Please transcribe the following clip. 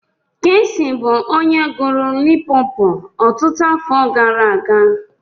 Keesi bụ onye gụrụ 'Limpopo' ọtụtụ afọ gara aga.